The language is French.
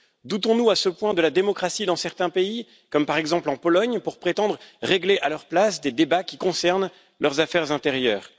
Doutons nous à ce point de la démocratie dans certains pays, par exemple en Pologne, pour prétendre régler à leur place des débats qui concernent leurs affaires intérieures.